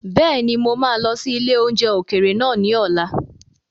Bẹ́ẹ̀ni, mo máa lọ sí ilé oúnjẹ ókéré naa ni ọ̀la